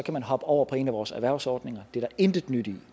man hoppe over på en af vores erhvervsordninger det er der intet nyt i